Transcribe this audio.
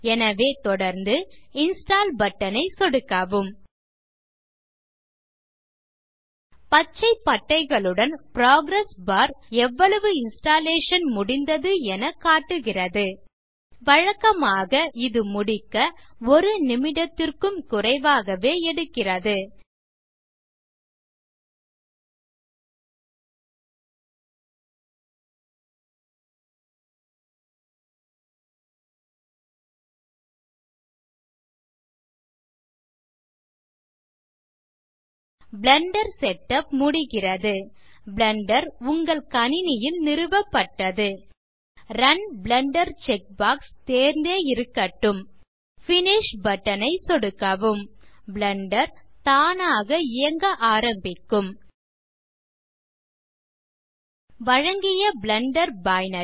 எனவே தொடர்ந்து install button ஐ சொடுக்கவும் பச்சை பட்டைகளுடன் புரோகிரஸ் பார் எவ்வளவு இன்ஸ்டாலேஷன் முடிந்தது என காட்டுகிறது வழக்கமாக இது முடிக்க ஒரு நிமிடத்திற்கும் குறைவாகவே எடுக்கிறது பிளெண்டர் செட்டப் முடிகிறது பிளெண்டர் உங்கள் கணினியில் நிறுவப்பட்டது ரன் பிளெண்டர் செக்பாக்ஸ் தேர்ந்தே இருக்கட்டும் பினிஷ் பட்டன் ஐ சொடுக்கவும் பிளெண்டர் தானாக இயங்க ஆரம்பிக்கும் வழங்கிய பிளெண்டர் பைனரி